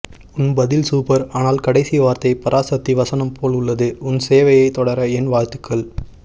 உன் பதில் சூப்பர் ஆனால் கடைசி வார்த்தை பராசக்தி வசனம் போல் உள்ளது உன் சேவையை தொடர என் வாழ்த்துக்கள்